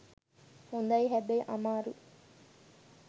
හොඳයි හැබැයි අමාරුයි